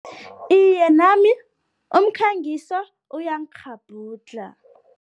Iye, nami umkhangiso uyangikghabhudlha.